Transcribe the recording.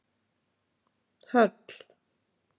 Höll